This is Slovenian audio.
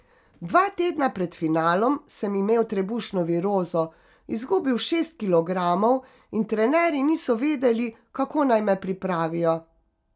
Dva tedna pred finalom sem imel trebušno virozo, izgubil šest kilogramov in trenerji niso vedeli, kako naj me pripravijo.